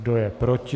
Kdo je proti?